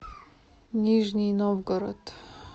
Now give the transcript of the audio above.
нижний новгород